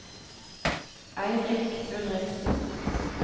Eirik Ulriksen